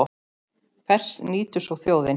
Hvers nýtur svo þjóðin?